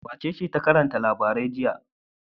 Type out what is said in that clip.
Wacece ta karanta labarai a jiya?